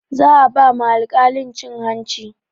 Za a ba ma alkalin cin hanci